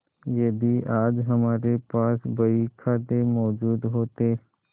यदि आज हमारे पास बहीखाते मौजूद होते